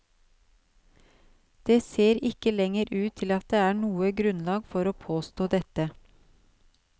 Det ser ikke lenger ut til at det er noe grunnlag for å påstå dette.